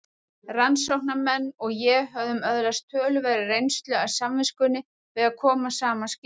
Rannsóknarmenn og ég höfðum öðlast töluverða reynslu af samvinnunni við að koma saman skýrslum.